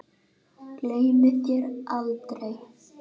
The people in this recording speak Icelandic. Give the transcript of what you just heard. Gleymi þér aldrei.